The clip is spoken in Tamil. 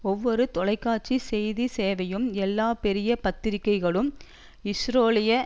ஒவ்வொரு தொலைக்காட்சி செய்தி சேவையும் எல்லா பெரிய பத்திரிகைகளும் இஸ்ரேலிய